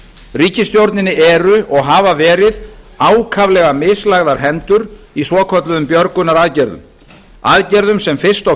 ríkisstjórninni eru og hafa verið ákaflega mislagðar hendur í svokölluðum björgunaraðgerðum aðgerðum sem fyrst og